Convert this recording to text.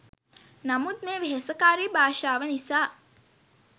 නමුත් මේ වෙහෙසකාරී භාෂාව නිසා